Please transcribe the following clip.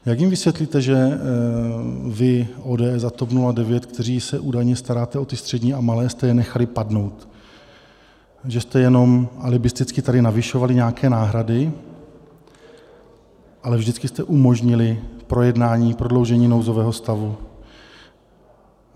Jak jim vysvětlíte, že vy, ODS a TOP 09, kteří se údajně staráte o ty střední a malé, jste je nechali padnout, že jste jenom alibisticky tady navyšovali nějaké náhrady, ale vždycky jste umožnili projednání prodloužení nouzového stavu.